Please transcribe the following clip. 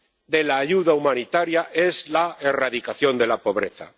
de la ayuda humanitaria es la erradicación de la pobreza.